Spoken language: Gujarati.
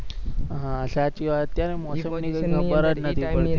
હા સાચી વાત છે મોસમ ની ખબર જ નથી પડતી.